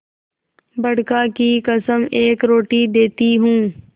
बड़का की कसम एक रोटी देती हूँ